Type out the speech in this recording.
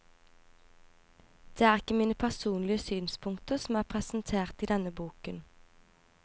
Det er ikke mine personlige synspunkter som er presentert i denne boken.